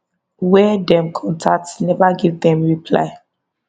wey dem contact neva give dem reply